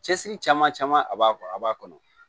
Cɛsiri caman caman a b'a a b'a kɔnɔ